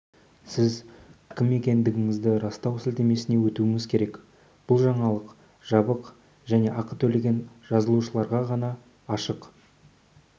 сіз кім екендігіңізді растау сілтемесіне өтуіңіз керек бұл жаңалық жабық және ақы төлеген жазылушыларға ғана ашық